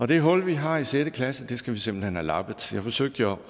det hul vi har i sjette klasse skal vi simpelt hen have lappet jeg forsøgte jo